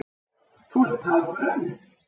Þú ert tággrönn!